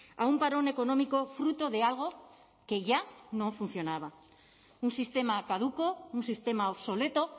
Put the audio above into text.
a un parón económico fruto de algo que ya no funcionaba un sistema caduco un sistema obsoleto